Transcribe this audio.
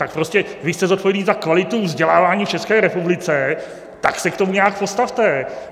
Tak prostě vy jste zodpovědný za kvalitu vzdělávání v České republice, tak se k tomu nějak postavte.